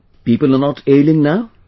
People are not ailing now...